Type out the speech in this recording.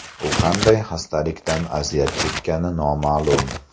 U qanday xastalikdan aziyat chekkani noma’lum.